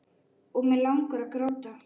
Og mig langar að gráta.